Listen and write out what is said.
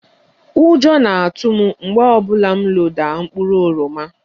Ụjọ na-atụ m mgbe ọ bụla m loda mkpụrụ oroma